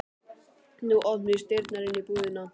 Nú opnuðust dyrnar inn í íbúðina.